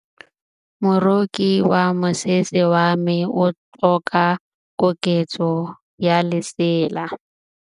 Moroki wa mosese wa me o tlhoka koketsô ya lesela.